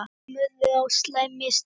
Honum urðu á slæm mistök.